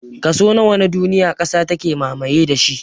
Kaso nawa na duniya ƙasa take mamaye da shi?